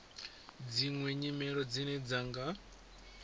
dziṅwe nyimelo dzine dza nga